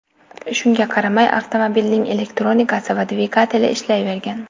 Shunga qaramay, avtomobilning elektronikasi va dvigateli ishlayvergan.